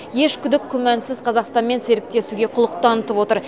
еш күдік күмәнсіз қазақстанмен серіктесуге құлық танытып отыр